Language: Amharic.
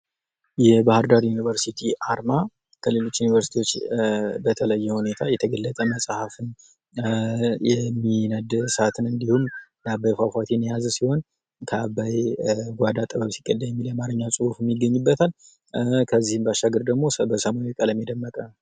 የባህር ዳር ዩኒቨርሲቲ አርማ ከሌሎች ዩኒበርሲቲዎች በተለየ ሁኔታ የተገለጠ መጽሐፍን የሚነድ እሳትን እንዲሁም የአባይ ፏፏቴን የያዘ ሲሆን ከአባይ ጓዳ ጥበብ ሲቀዳ የሚል የአማረኛ ፅሑፍም ይገኝበታል ከዚህም ባሻገር ደግሞ በሰማያዊ ቀለም የደመቀ ።